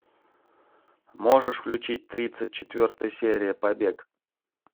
можешь включить тридцать четвертая серия побег